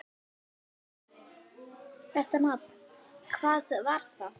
Þetta nafn: hvað var það?